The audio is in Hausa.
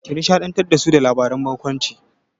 Ki nishaɗantar da su da labaran barkwanci!